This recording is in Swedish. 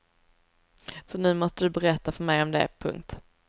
Så nu måste du berätta för mig om det. punkt